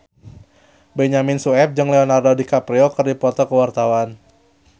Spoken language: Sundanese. Benyamin Sueb jeung Leonardo DiCaprio keur dipoto ku wartawan